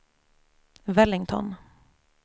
Wellington